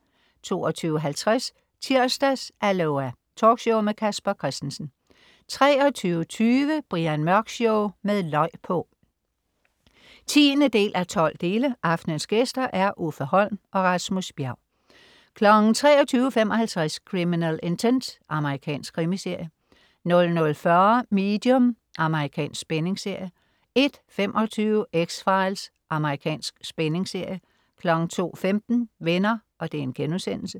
22.50 Tirsdags-Aloha! Talkshow med Casper Christensen 23.20 Brian Mørk Show med løg på! 10:12. Aftenens gæster: Uffe Holm og Rasmus Bjerg 23.55 Criminal Intent. Amerikansk krimiserie 00.40 Medium. Amerikansk spændingsserie 01.25 X-Files. Amerikansk spændingsserie 02.15 Venner*